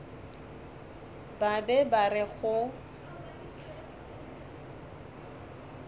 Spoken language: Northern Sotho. ba be ba re go